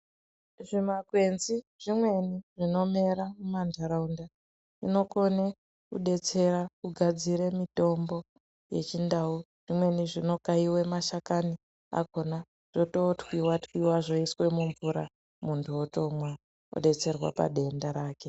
Zvimakwenzi zvimweni zvinomera mumantharunda zvinokone kudetsera kudadzira mitombo yechindau zvimweni zvinokaiwe mashakani akona zvotootwiwa twiwa zvoiswe mumvura munthu otomwa odetserwa padenda rake.